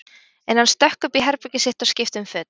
En hann stökk upp í herbergið sitt og skipti um föt.